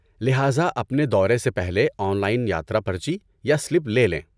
لہذا، اپنے دورے سے پہلے آن لائن یاترا پرچی یا سلپ لے لیں۔